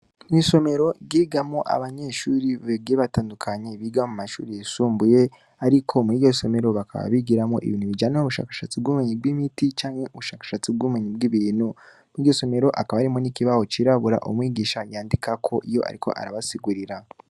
Mw'isomero ryigamwo abanyeshuri bagiye batandukanye, biga mu mashuri yisumbuye, ariko muri iryo somero bakaba bigiramwo ibintu bijanye n'ubushakashatsi bw'ubumenyi bw'imiti, canke n'ubushakashatsi bw'ubumenyi bw'ibintu; muri iryo somero, hakaba harimwo n'ikibaho cirabura, umwigisha yandikako iyo ariko arabasigurira.